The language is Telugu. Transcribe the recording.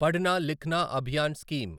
పడ్న లిఖ్నా అభియాన్ స్కీమ్